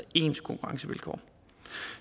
ens konkurrencevilkår